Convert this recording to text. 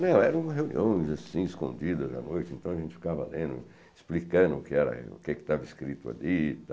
Não, eram reuniões assim, escondidas à noite, então a gente ficava lendo, explicando o que era o que estava escrito ali e